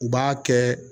U b'a kɛ